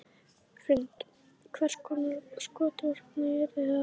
Hrund: Hvers konar skotvopn yrðu það?